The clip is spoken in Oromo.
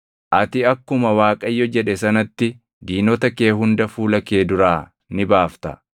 Ati akkuma Waaqayyo jedhe sanatti diinota kee hunda fuula kee duraa ni baafta.